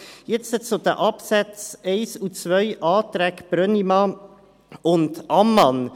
Jetzt zu den Absätzen 1 und 2, Anträge Brönnimann und Ammann.